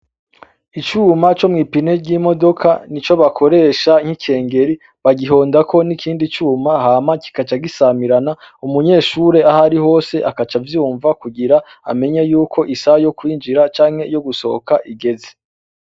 Icuma co mw'ipine ry'imodoka, ni co bakoresha nk'ikengeri, bagihondako n'ikindi cuma hama kikacagisamirana, umunyeshuri ahari hose akaca avyumva kugira amenye yuko isaha yo kwinjira canke yo gusohoka igeze.